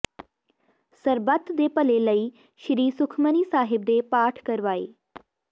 ਸਰਬਤ ਦੇ ਭਲੇ ਲਈ ਸ੍ਰੀ ਸੁਖਮਨੀ ਸਾਹਿਬ ਦੇ ਪਾਠ ਕਰਵਾਏ